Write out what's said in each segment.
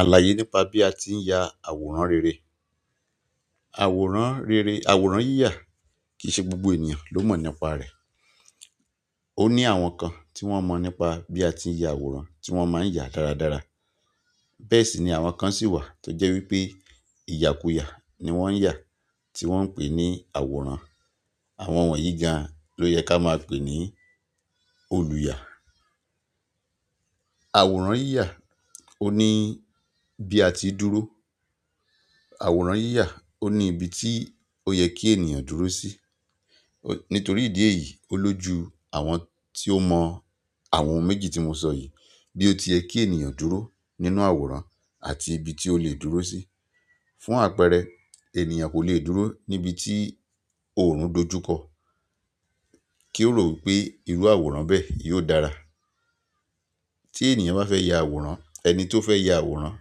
Àlàyé nípa bí a tí ń ya àwòrán rere. Àwòrán rere, àwòrán yíyà kì í ṣe gbogbo ènìyàn ló mọ̀ nípa rẹ̀. Ó ní àwọn kan tí wọ́n mọ̀ nípa bí a tí ń ya àwòrán tí wọ́n má ń yà dáradára. Bẹ́ẹ̀ sì ni àwọn kan sì wà tó jẹ́ wípé ìyàkúyà ni wọ́n ń yà, tí wọ́n ń pè ní àwòrán. Àwọn wọ̀nyí gan ló yẹ ká máa pè ní olùyà. Àwòrán yíyà òní bí a ti dúró. Àwòrán yíyà òní ibi tí ó yẹ kí ènìyàn dúró sí. Nítorí ìdí èyí, ó lójú àwọn tí ó mọ àwọn ohun méjì tí mo sọ yìí bí ó ti yẹ kí ènìyàn dúró nínú àwòrán àti ibi tí ó lè dúró sí. Fún àpẹẹrẹ, ènìyàn kò lè dúró níbi tí òòrùn dojúkọ kí ó rò wípé irú àwòrán bẹ́ẹ̀ yóò dára. Tí ènìyàn bá fẹ́ ya àwòrán, ẹni tó fẹ́ ya àwòrán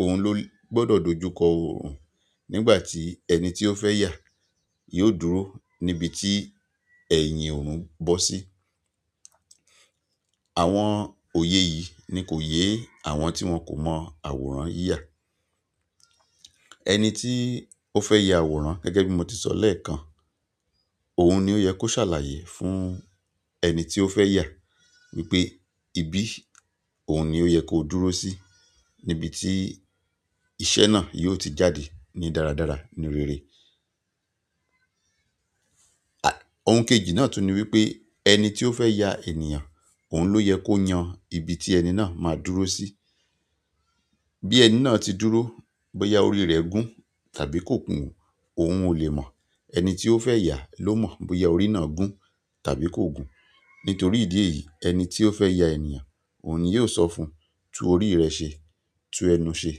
òun ló gbọ́dọ̀ dojúkọ òòrùn nígbà tí ẹni tí ó fẹ́ yà yóò dúró níbi tí ẹ̀yìn òòrùn bọ́ sí. Àwọn òye yìí ni kò yé àwọn tí wọn kò mọ àwòrán yíyà. Ẹni tí ó fẹ́ ya àwòrán gẹ́gẹ́ bí mo ti sọ lẹ́ẹ̀kan, òun ni ó yẹ kó ṣàlàyé fún ẹni tí ó fẹ́ yà wípé ibí òun ni ó yẹ kó dúró sí níbi tí iṣẹ́ náà yóò ti jáde ní dáradára, ní rere. Ohun kejì náà tún ni wípé ẹni tí ó fẹ́ ya ènìyàn òun ló yẹ kó yan ibi tí ẹni náà máa dúró sí. Bí ẹni náà ti dúró, bóyá orí rẹ̀ gún tàbí kò gún òun ò lè mọ̀. Ẹni tí ó fẹ́ yà ló mọ̀ bóyá orí náà gún tàbí kò gún. Nítorí ìdí èyí ẹni tí ó fẹ́ ya ènìyàn òun ni yóò sọ fún un tun orí rẹ ṣe, tun ẹnu ṣe,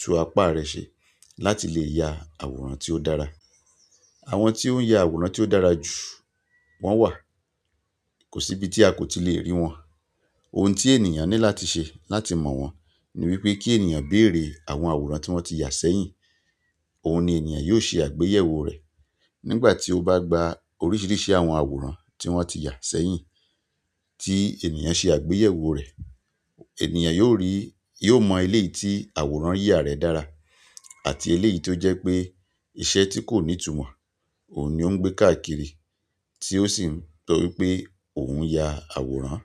tun apá rẹ ṣe láti lè ya àwòrán tí ó dára. Àwọn tí ó ń ya àwòrán tí ó dára jù wọ́n wà. Kò sí ibi tí a kò ti lè rí wọn. Ohun tí ènìyàn ní láti ṣe láti mọ̀ wọ́n ni wípé kí ènìyàn bèèrè àwọn àwòrán tí wọ́n ti yà sẹ́yìn. Òun ni ènìyàn yóò ṣe àgbéyẹ̀wò rẹ̀. Nígbà tí ó bá gba oríṣiríṣi àwọn àwòrán tí wọ́n ti yà sẹ́yìn tí ènìyàn ṣe àgbéyẹ̀wò rẹ̀, ènìyàn yóò rí, yóò mọ eléyi tí àwòrán yíyà rẹ̀ dára àti eléyí tó jẹ́ pé iṣẹ́ tí kò ní ìtumọ̀ òun ni ó ń gbé káàkiri tí ó sì ń sọ wípé òun ń ya àwòrán.